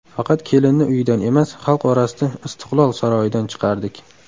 Faqat kelinni uyidan emas, xalq orasida ‘Istiqlol’ saroyidan chiqardik.